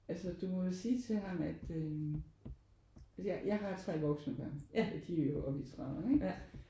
Altså du må jo sige til ham at øh jeg har jeg har 3 voksne børn og de er jo oppe i trediverne ikke?